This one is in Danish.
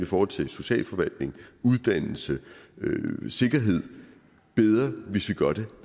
forhold til socialforvaltning uddannelse sikkerhed bedre hvis vi gør det